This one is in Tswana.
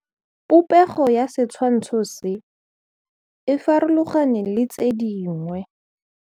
Popêgo ya setshwantshô se, e farologane le tse dingwe.